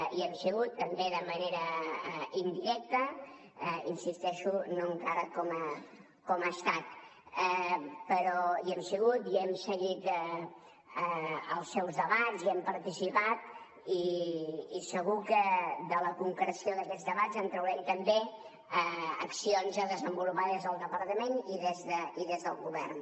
i hi hem sigut també de manera indirecta hi insisteixo no encara com a estat però hi hem sigut hem seguit els seus debats i hi hem participat i segur que de la concreció d’aquests debats en traurem també accions a desenvolupar des del departament i des del govern